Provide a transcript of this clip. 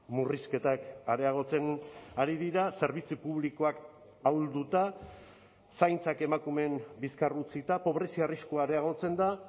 murrizketak areagotzen ari dira zerbitzu publikoak ahulduta zaintzak emakumeen bizkar utzita pobrezia arriskua areagotzen da